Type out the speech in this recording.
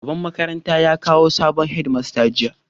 Shugaban makarantar ya kawo sabon Head master jiya